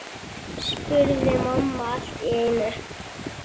spurði mamma allt í einu.